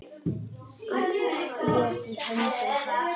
Allt lék í höndum hans.